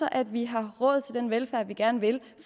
at vi har råd til den velfærd vi gerne vil